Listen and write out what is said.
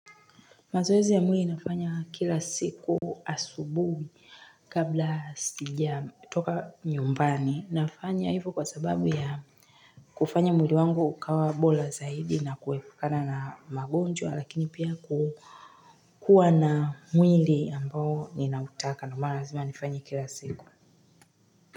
Mazoezi ya mwili nafanya kila siku asubuhi kabla sijatoka nyumbani nafanya hivo kwa sababu ya kufanya mwili wangu ukae bora zaidi na kuepukana na magonjwa lakini pia kukuwa na mwili ambao unataka na lazima nifanye kila siku.